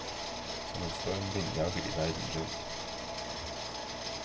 Som en stormvind jager de verden rundt.